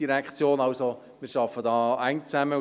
Wir arbeiten eng, und wie ich glaube, auch gut zusammen.